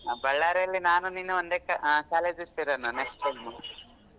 Bellary ಅಲ್ಲಿ ನಾನು ನೀನು ಒಂದೇ co~ ಆ college ಸೇರೋಣ next time .